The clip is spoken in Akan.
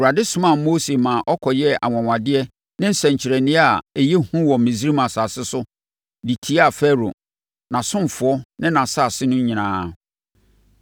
Awurade somaa Mose ma ɔkɔyɛɛ anwanwadeɛ ne nsɛnkyerɛnneɛ a ɛyɛ hu wɔ Misraim asase so de tiaa Farao, nʼasomfoɔ ne asase no nyinaa.